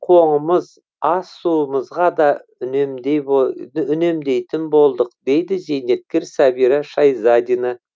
тіпті кір қоңымыз ас суымызға да үнемдейтін болдық дейді зейнеткер сәбира шайзадина